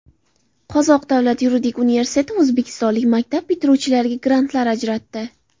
Qozoq davlat yuridik universiteti o‘zbekistonlik maktab bitiruvchilariga grantlar ajratdi.